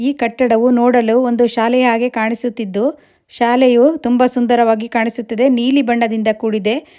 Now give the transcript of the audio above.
ಈ ಕಟ್ಟಡವು ನೋಡಲು ಒಂದು ಶಾಲೆಯಾಗಿ ಕಾಣಿಸುತ್ತಿದ್ದು ಶಾಲೆಯು ತುಂಬಾ ಸುಂದರವಾಗಿ ಕಾಣಿಸುತ್ತಿದೆ ನೀಲಿ ಬಣ್ಣದಿಂದ ಕೂಡಿದೆ.